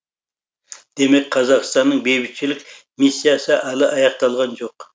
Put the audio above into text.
демек қазақстанның бейбітшілік миссиясы әлі аяқталған жоқ